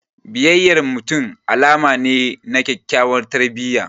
Biyayyan mutum alama ne na kyakyawar tarbiyya.